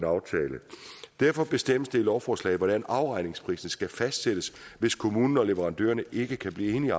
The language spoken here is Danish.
aftale derfor bestemmes det i lovforslaget hvordan afregningsprisen skal fastsættes hvis kommunen og leverandørerne ikke kan blive enige